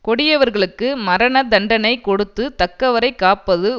கொடியவர்களுக்கு மரண தண்டனை கொடுத்து தக்கவரைக் காப்பது